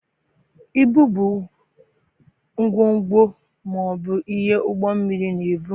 Ibu bụ ngwongwo ma ọ bụ ihe ụgbọ mmiri na-ebu.